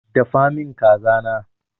Dafa min kaza na!